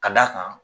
Ka d'a kan